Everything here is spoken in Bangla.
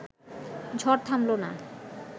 ঝড় থামল না